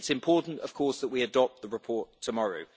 It's important, of course, that we adopt the report tomorrow.